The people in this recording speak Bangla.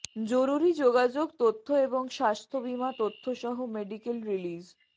জরুরী যোগাযোগ তথ্য এবং স্বাস্থ্য বীমা তথ্য সহ মেডিকেল রিলিজ